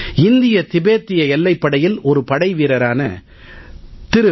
இந்திய திபத்திய எல்லைப் படையில் ஒரு படைவீரரான திரு